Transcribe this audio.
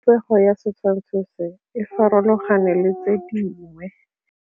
Popêgo ya setshwantshô se, e farologane le tse dingwe.